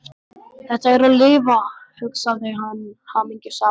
Þetta er að lifa, hugsaði hann hamingjusamur.